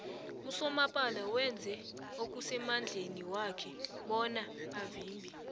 usomapala wenze okusemadleni wakhe bona avimbe